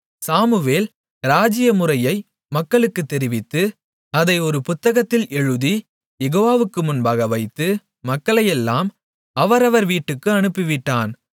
Samuel ராஜ்ஜிய முறையை மக்களுக்குத் தெரிவித்து அதை ஒரு புத்தகத்தில் எழுதி யெகோவாவுக்கு முன்பாக வைத்து மக்களையெல்லாம் அவரவர் வீட்டுக்கு அனுப்பிவிட்டான்